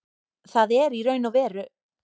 Það er í raun og veru